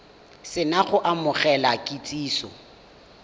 se na go amogela kitsiso